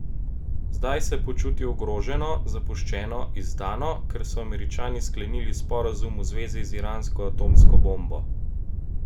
Zdaj se počuti ogroženo, zapuščeno, izdano, ker so Američani sklenili sporazum v zvezi z iransko atomsko bombo.